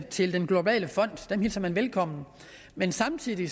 til den globale fond velkommen men samtidig